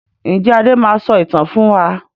Ǹjẹ́ Adé máa sọ ìtàn fún wa?